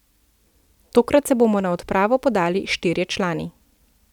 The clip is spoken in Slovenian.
Tokrat se bomo na odpravo podali štirje člani.